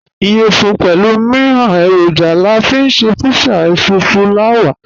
Iyẹfun pẹlu miiran eroja la fi nṣe pizza èṣùfùlàwà.